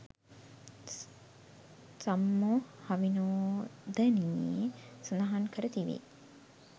සම්මෝහවිනෝදනියේ සඳහන් කර තිබේ.